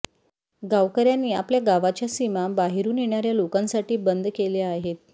गावकऱयांनी आपल्या गावाच्या सीमा बाहेरून येणाऱया लोकांसाठी बंद केल्या आहेत